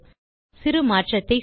சிறு மாற்றத்தை செய்வோம்